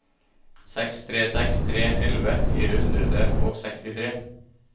seks tre seks tre elleve fire hundre og sekstitre